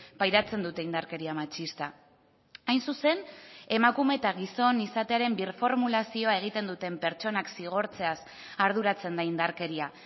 pairatzen dute indarkeria matxista hain zuzen emakume eta gizon izatearen birformulazioa egiten duten pertsonak zigortzeaz arduratzen da indarkeria